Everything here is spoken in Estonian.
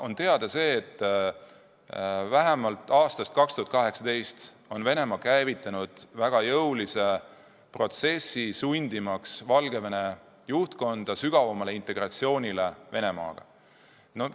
On teada see, et vähemalt aastast 2018 on Venemaa käivitanud väga jõulise protsessi, sundimaks Valgevene juhtkonda tihedamale integratsioonile Venemaaga.